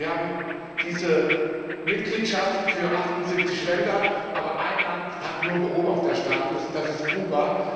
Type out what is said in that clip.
Wir haben die Mitgliedschaft für 78 Länder, aber ein Land hat nur Beobachterstatus, das ist Kuba.